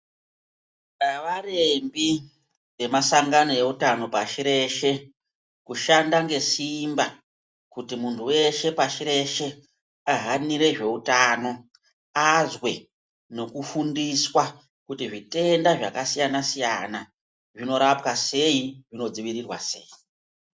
Havarembi vemashangano eutano pashi reshe kushanda ngesimba kuti muntu veshe pashireshe ahanire zveutano. Azwe nokufundiswa kuti zvitenda zvakasiyana-siyana, zvinorapwa sei zvino dzivirirwa sei.